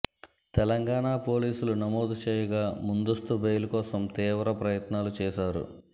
తెలంగాణ పోలీసులు నమోదు చేయగా ముందస్తు బెయిల్ కోసం తీవ్ర ప్రయత్నాలు చేశారు